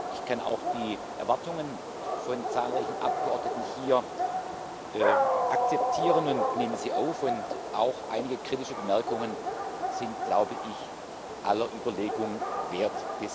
Ich kann auch die Erwartungen von zahlreichen Abgeordneten hier akzeptieren und nehme sie auf, und auch einige kritische Bemerkungen sind, glaube ich, aller Überlegung wert.